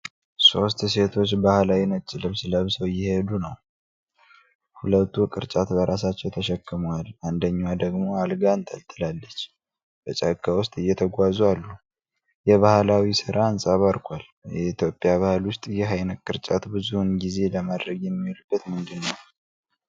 ሶስት ሴቶች ባህላዊ ነጭ ልብስ ለብሰው እየሄዱ አሉ። ሁለቱ ቅርጫት በራሳቸው ተሸክመዋል፣ አንደኛዋ ደግሞ አልጋ አንጠልጥላለች። በጫካ ውስጥ እየተጓዙ አሉ። የባህላዊ ሥራ አንፀባርቋል። በኢትዮጵያ ባህል ውስጥ ይህ ዓይነት ቅርጫት ብዙውን ጊዜ ለማድረግ የሚውልበት ምንድን ነው?